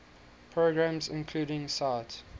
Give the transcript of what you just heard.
programs include sight